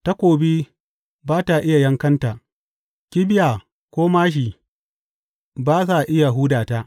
Takobi ba ta iya yankanta, kibiya ko māshi ba sa iya huda ta.